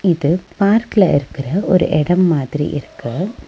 இது பார்க்கல இருக்கிற ஒரு எடம் மாதிரி இருக்கு.